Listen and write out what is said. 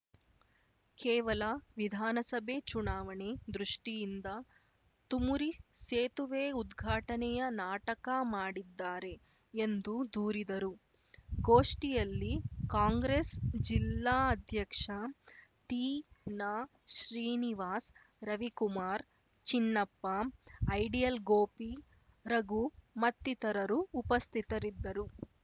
ಕೇವಲ ವಿಧಾನಸಭೆ ಚುನಾವಣೆ ದೃಷ್ಟಿಯಿಂದ ತುಮುರಿ ಸೇತುವೆ ಉದ್ಘಾಟನೆಯ ನಾಟಕ ಮಾಡಿದ್ದಾರೆ ಎಂದು ದೂರಿದರು ಗೋಷ್ಠಿಯಲ್ಲಿ ಕಾಂಗ್ರೆಸ್‌ ಜಿಲ್ಲಾ ಅಧ್ಯಕ್ಷ ತೀನಾ ಶ್ರೀನಿವಾಸ್‌ ರವಿಕುಮಾರ್‌ ಚಿನ್ನಪ್ಪ ಐಡಿಯಲ್‌ ಗೋಪಿ ರಘು ಮತ್ತಿತರರು ಉಪಸ್ಥಿತರಿದ್ದರು